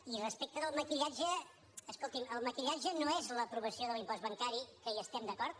i respecte del maquillatge escolti’m el maquillatge no és l’aprovació de l’impost bancari que hi estem d’acord